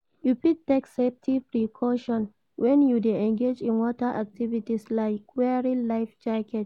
you fit take safety precauton when you dey engage in water activities, like wearing life jackets.